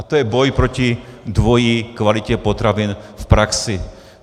A to je boj proti dvojí kvalitě potravin v praxi.